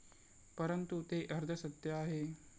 परंतु, ते अर्धसत्य आहे.